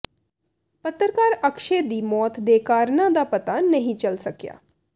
ਪੱਤਰਕਾਰ ਅਕਸ਼ੈ ਦੀ ਮੌਤ ਦੇ ਕਾਰਨਾਂ ਦਾ ਪਤਾ ਨਹੀਂ ਚੱਲ ਸਕਿਆ